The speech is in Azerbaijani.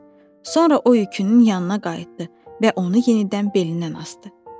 Sonra o yükünün yanına qayıtdı və onu yenidən belindən asdı.